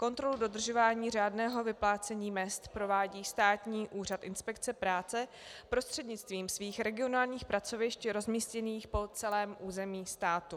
Kontrolu dodržování řádného vyplácení mezd provádí Státní úřad inspekce práce prostřednictvím svých regionálních pracovišť rozmístěných po celém území státu.